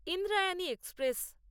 Indrayani express